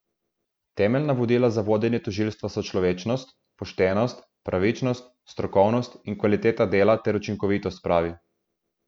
Temeljna vodila za vodenje tožilstva so človečnost, poštenost, pravičnost, strokovnost in kvaliteta dela ter učinkovitost, pravi.